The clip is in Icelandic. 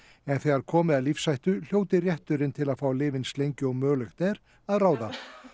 en þegar komi að lífshættu hljóti rétturinn til að fá að lifa eins lengi og mögulegt er að ráða